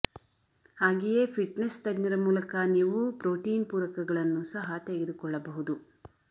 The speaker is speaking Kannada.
ಹಾಗೆಯೇ ಫಿಟ್ನೆಸ್ ತಜ್ಞರ ಮೂಲಕ ನೀವು ಪ್ರೋಟೀನ್ ಪೂರಕಗಳನ್ನು ಸಹ ತೆಗೆದುಕೊಳ್ಳಬಹುದು